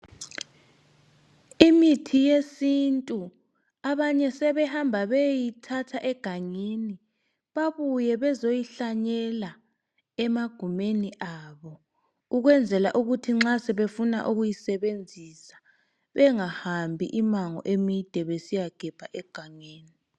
Imithi yesintu abanye sebehamba beyeyithatha egangeni babuye bezoyihlanyela emagumeni abo ukwenzela ukuthi nxa sebefuna ukuyisebenzisa bengahambi imango emide egangeni.